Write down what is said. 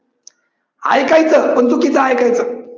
ऐकायचं पण चुकीच ऐकायचं.